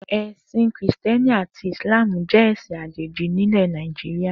È̩sìn Krìsté̩ni àti Ìsláàmù jé̩ è̩sin àjèjì nílè̩ Nàìjíríà